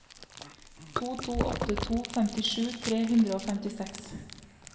to to åtte to femtisju tre hundre og femtiseks